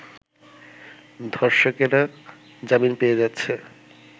ধর্ষকেরা জামিন পেয়ে যাচ্ছে